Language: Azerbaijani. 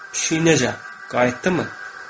Pişik necə, qayıtdımı?